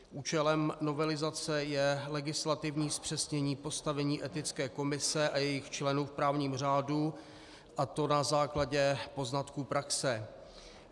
Účelem novelizace je legislativní zpřesnění postavení Etické komise a jejích členů v právním řádu, a to na základě poznatků praxe.